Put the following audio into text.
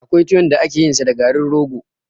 Akwai tuwon da ake yin sa da garin rogo